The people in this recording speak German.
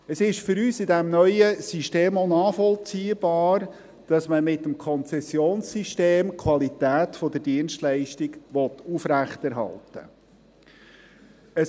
Es ist für uns in diesem neuen System auch nachvollziehbar, dass man mit dem Konzessionssystem die Qualität der Dienstleistung aufrechterhalten will.